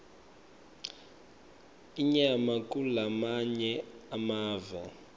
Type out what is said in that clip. inyama kulamanye emave